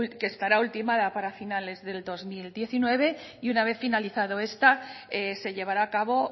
que estará ultimada para finales del dos mil diecinueve y una vez finalizado esta se llevará a cabo